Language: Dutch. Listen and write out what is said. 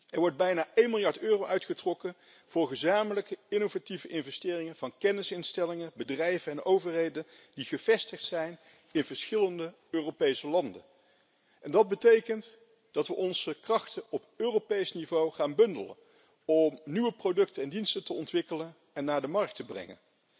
Er wordt bijna 1 miljard euro uitgetrokken voor gezamenlijke innovatieve investeringen van kennisinstellingen, bedrijven en overheden die gevestigd zijn in verschillende Europese landen. Dat betekent dat we onze krachten op Europees niveau gaan bundelen om nieuwe producten en diensten te ontwikkelen en naar de markt te brengen.